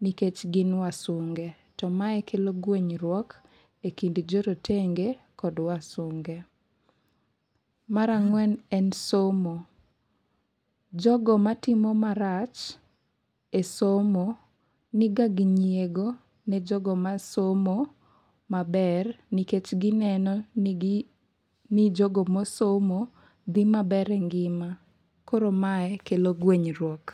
nikech gin wasunge, to mae kelo guenyruok e kind jo rotenge kod wasunge. Mar ang'wen en somo. Jogo matimo marach e somo, niga gi nyiego ne jogo ma somo maber nikech gineno ni gi, ni jogo mosomo dhi maber e ngima. Koro mae kelo guenyruok.